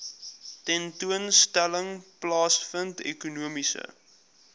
tentoonstelling plaasvind ekonomiese